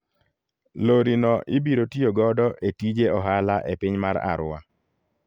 Lori no ibiro tiyo godo e tije ohala e piny mar Arua.